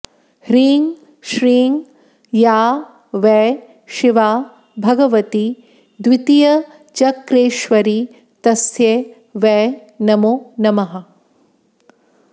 ह्रीं श्रीं या वै शिवा भगवती द्वितीयचक्रेश्वरी तस्यै वै नमो नमः